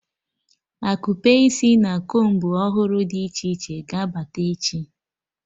Akupe isi na combu ọhụrụ dị iche iche ga-abata echi